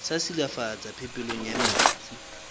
sa silafatsa phepelo ya metsi